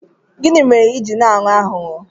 Gịnị mere ị ji na-aghọ aghụghọ?